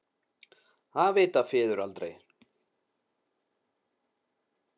Það vita feður aldrei.